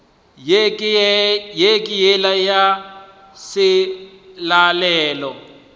ye ke yela ya selalelo